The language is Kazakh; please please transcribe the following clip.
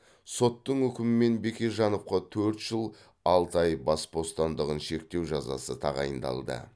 соттың үкімімен бекежановқа төрт жыл алты ай бас бостандығын шектеу жазасы тағайындалды